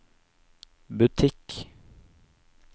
butikk